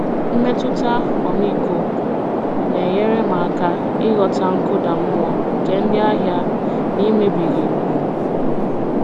Mmetụta ọmịiko na-enyere m aka ịghọta nkụda mmụọ nke ndị ahịa n'emebighị ùgwù m.